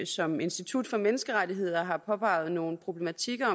som institut for menneskerettigheder i høringssvaret har påpeget nogle problematikker